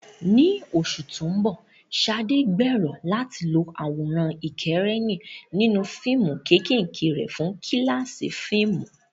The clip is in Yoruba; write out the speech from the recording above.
Ní oṣù tó ń bọ̀, Sade gbèrò láti lo àwòrán ìkẹ́rẹ́nì nínú fíìmù kéékèèké rẹ̀ fún kíláàsì fíìmù.